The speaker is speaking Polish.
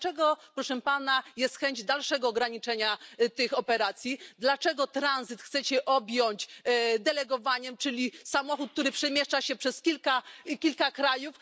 To dlaczego, proszę Pana, jest chęć dalszego ograniczenia tych operacji? Dlaczego tranzyt chcecie objąć delegowaniem? Czyli samochód, który przemieszcza się przez kilka krajów.